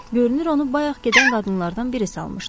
Görünür onu bayaq gedən qadınlardan biri salmışdı.